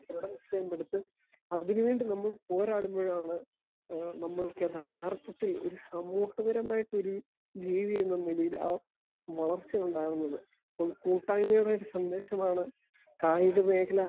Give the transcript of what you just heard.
Speaker 1 ദൃഡ നിശ്ചയം എടുത്ത് അതിന് വേണ്ടി നമ്മൾ പോരാടുകയാണ് എഹ് നമ്മൾക്ക് യഥാർതത്തിൽ ഒരു സാമൂഹിക പരമായിട്ടൊരു ജീവി എന്നൊരു നിലയിൽ ആ വളർച്ചയുണ്ടാകുന്നത്. ഒരു കൂട്ടായ്മയുടെ ഒരു സന്ദേശമാണ് കായിക മേഖല